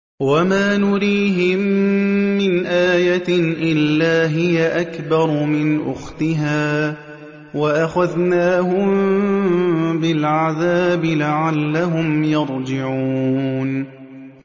وَمَا نُرِيهِم مِّنْ آيَةٍ إِلَّا هِيَ أَكْبَرُ مِنْ أُخْتِهَا ۖ وَأَخَذْنَاهُم بِالْعَذَابِ لَعَلَّهُمْ يَرْجِعُونَ